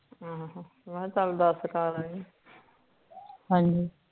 ਅਮ ਮਕਾਂ ਚਲ ਦਸ ਕਰ ਆਈ ਹਨਜੀ